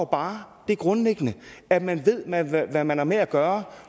bare det grundlæggende at man man ved hvad man har med at gøre